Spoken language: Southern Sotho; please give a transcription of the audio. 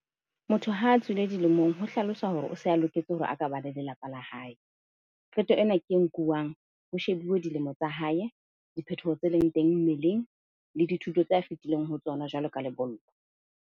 Motho ha tswile dilemong ho hlalosa hore o se a loketse hore a ka ba le lelapa la hae. Qeto ena ke e nkuwang ho shebuwe dilemo tsa hae, diphetoho tse leng teng mmeleng le dithuto tse a fetileng ho tsona, jwalo ka lebollo.